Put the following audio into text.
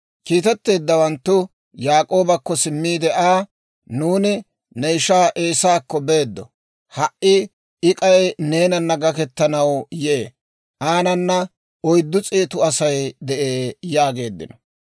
Kiitetteeddawanttu Yaak'oobakko simmiide Aa, «Nuuni ne ishaa Eesaakko beeddo; ha"i I k'ay neenana gaketanaw yee; aanana oyddu s'eetu Asay de'ee» yaageeddino.